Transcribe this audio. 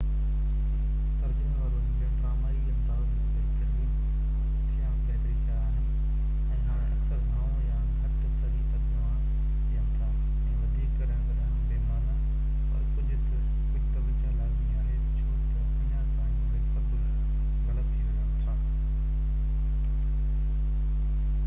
ترجمي وارو انجڻن ڊرامائي انداز ۾ بهتري ٿيا آهن، ۽ هاڻي اڪثر گهڻو يا گهٽ صحيح ترجما ڏين ٿا ۽ وڌيڪ ڪڏهن ڪڏهن بي معنيٰ، پر ڪجهہ توجهہ لازمي آهي، ڇو تہ اڃا تائين اهي سڀ غلط ٿي سگهن ٿا